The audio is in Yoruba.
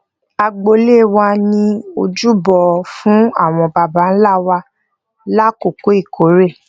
agboolé wa ní ojúbọ fún àwọn baba nla wa lakoko ìkórè